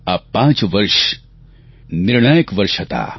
આ પાંચ વર્ષ નિર્ણાયક વર્ષ હતાં